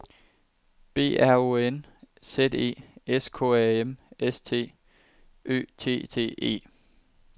B R O N Z E S K A M S T Ø T T E